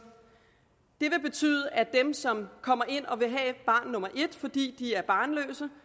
det vil betyde at dem som kommer ind og vil have barn nummer et fordi de er barnløse